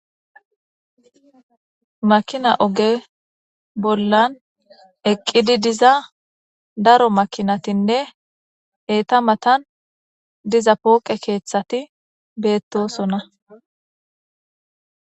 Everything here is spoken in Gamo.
makina oge bollan eqqidi diza daro makinatinne eeta matan diza pooqe keeththati beettosona